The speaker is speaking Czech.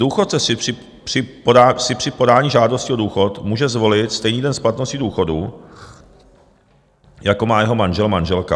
Důchodce si při podání žádosti o důchod může zvolit stejný den splatnosti důchodu, jako má jeho manžel, manželka.